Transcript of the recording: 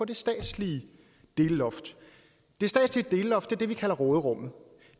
det statslige delloft det statslige delloft er det vi kalder råderummet